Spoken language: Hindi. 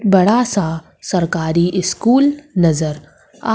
बड़ा सा सरकारी स्कूल नजर आ--